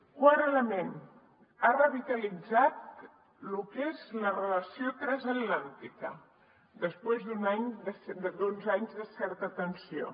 quart element ha revitalitzat lo que és la relació transatlàntica després d’uns anys de certa tensió